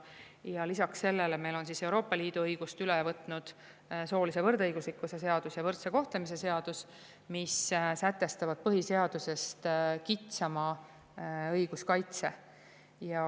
Ja lisaks sellele on meil Euroopa Liidu õigusest üle võetud soolise võrdõiguslikkuse seadus ja võrdse kohtlemise seadus, mis sätestavad põhiseadusest kitsama õiguskaitse.